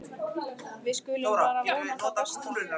Við skulum bara vona það besta.